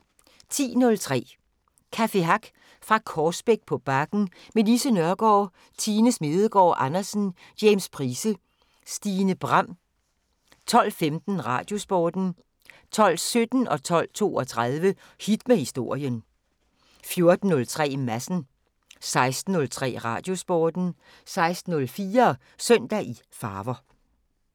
10:03: Café Hack fra Korsbæk på Bakken med Lise Nørgaard, Tine Smedegaard Andersen, James Price, Stine Bram 12:15: Radiosporten 12:17: Hit med Historien 12:32: Hit med Historien 14:03: Madsen 16:03: Radiosporten 16:04: Søndag i farver